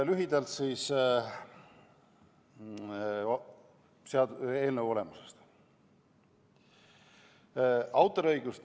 Lühidalt eelnõu olemusest.